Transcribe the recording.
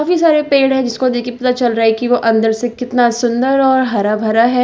काफी सारे पेड़ है जिसको देख के पता चल रहा है कि वो अंदर से कितना सुंदर और हरा भरा है।